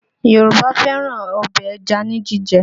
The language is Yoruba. Yorùbá fẹ́ràn ọbẹ̀ ẹja ní jíjẹ